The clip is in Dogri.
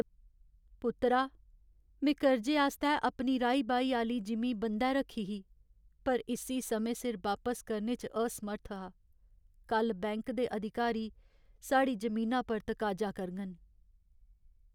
पुत्तरा, में कर्जे आस्तै अपनी राही बाही आह्‌ली जिमीं बंद्धै रक्खी ही पर इस्सी समें सिर वापस करने च असमर्थ हा। कल्ल बैंक दे अधिकारी साढ़ी जमीना पर तकाजा करङन।